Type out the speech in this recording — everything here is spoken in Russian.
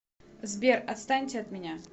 сбер отстаньте от меня